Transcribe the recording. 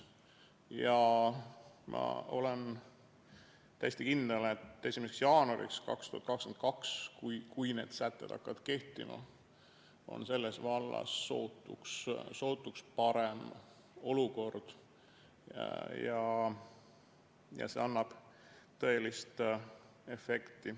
Ja ma olen täiesti kindel, et 1. jaanuariks 2022, kui need sätted hakkavad kehtima, on selles vallas sootuks parem olukord ja see annab tõelise efekti.